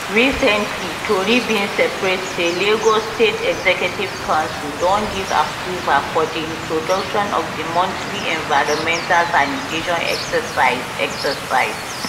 recently tori bin spread say lagos state executive council don give approval for di introduction of di monthly environmental sanitation exercise exercise